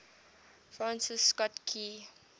francis scott key